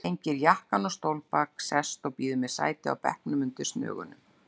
Hengir jakkann á stólbak, sest og býður mér sæti á bekknum undir snögunum.